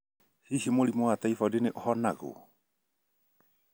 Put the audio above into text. Hihi mũrimũ wa typhoid ni ũhonagwo?